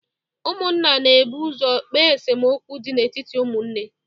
Ụmụnna na ebu ụzọ ekpe esemokwu dị n'etiti ụmụnne